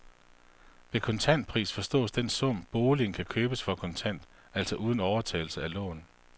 Ved kontantpris forstås den sum, boligen kan købes for kontant, altså uden overtagelse af lån.